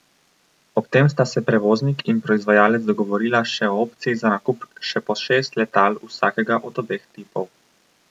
Ob tem sta se prevoznik in proizvajalec dogovorila še o opciji za nakup še po šest letal vsakega od obeh tipov.